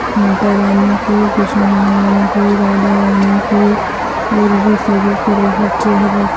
माता रानी की कृष्ण भगवान की राधा रानी की और भी